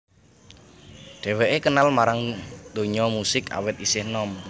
Dheweké kenal marang donya musik awit isih enom